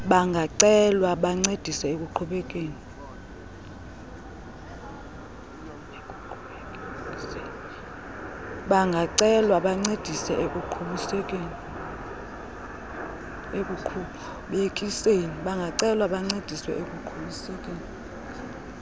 bayacelwa bancedise ekuqhubekekiseni